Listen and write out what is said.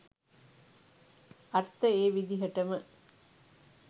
අර්ථ ඒ විදිහටම